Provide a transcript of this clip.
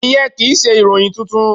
Ìyẹn kì í ṣe ìròyìn tuntun.